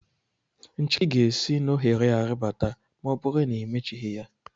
Nchiki ga-esi n'ohere a ribata ma ọ bụrụ na imechighi ya.